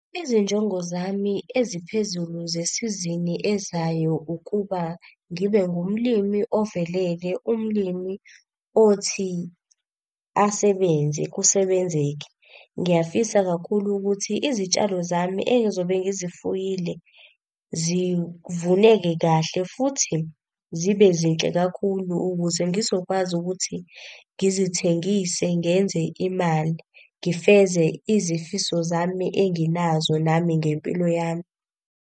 Izinjongo zami eziphezulu zesizini ezayo ukuba, ngibe ngumlimi ovelele umlimi othi asebenze kusebenzeke. Ngiyafisa kakhulu ukuthi izitshalo zami ey'zobe ngizifuyile zivuneke kahle futhi, zibe zinhle kakhulu ukuze ngizokwazi ukuthi ngizithengise ngenze imali. Ngifeze izifiso zami enginazo nami ngempilo yami.